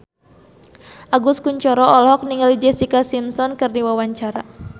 Agus Kuncoro olohok ningali Jessica Simpson keur diwawancara